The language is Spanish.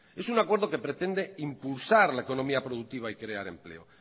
es un acuerdo que pretende impulsar la economía productiva y crear empleo